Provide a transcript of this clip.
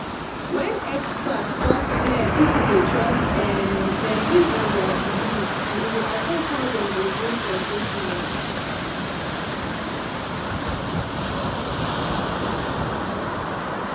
when experts talk clear people dey trust um dem based on their belief and e dey affect how dem go gree for treatment